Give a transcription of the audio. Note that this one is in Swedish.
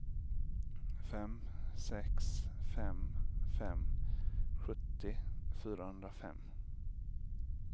fem sex fem fem sjuttio fyrahundrafem